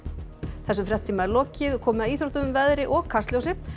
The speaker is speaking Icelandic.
þessum fréttatíma er lokið og komið að íþróttum veðri og Kastljósi